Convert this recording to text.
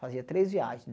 Fazia três viagens.